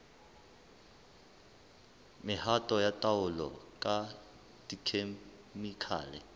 mehato ya taolo ka dikhemikhale